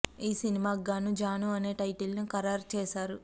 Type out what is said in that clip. ఈ సినిమాకి గాను జాను అనే టైటిల్ ని ఖరారు చేశారు